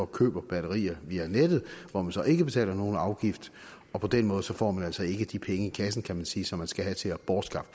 køber batterier via nettet hvor man så ikke betaler nogen afgift og på den måde får man altså ikke de penge i kassen kan man sige som man skal have til at bortskaffe